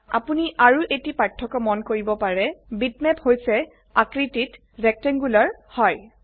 অপোনি আৰু এটি পাৰ্থ্যক্য মন কৰিব পাৰে বিটম্যাপ হৈছে আকৃতিত ৰেক্টেংগুলাৰ মানে আয়তাকাৰ হয়